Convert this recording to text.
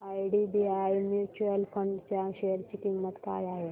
IDBI mutual fund च्या share ची किंमत काय आहे